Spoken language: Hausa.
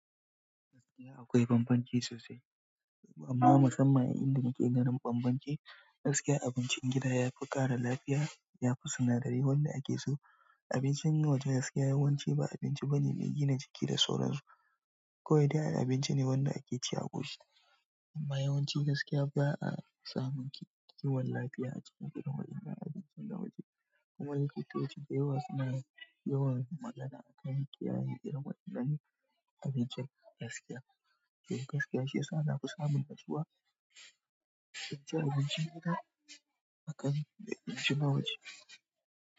Gaskiya akwai bambanci sosai, amma musamman a inda muke ganin bambanci, gaskiya abincin gida yafi ƙara lafiya, yafi sinadari wanda ake so. Abincin waje gaskiya yawanci ba abinci bane mai gina jiki da sauransu. Kawai dai ai abinci ne wanda ake ci a ƙoshi. Amma yawanci gaskiya ba'a samun kiwon lafiya a cikin girman wajen abincin waje. Kuma likitoci da yawa suna yawan magana akan kiyaye irin wannan abincin gaskiya. Toh gaskiya shiyasa nafi samun nutsuwa cin abincin gida akan abinci waje.